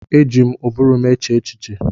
Eji m ụbụrụ m eche echiche.